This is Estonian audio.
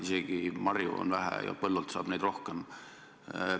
Isegi marju on metsas vähe, põllult saab neid rohkem.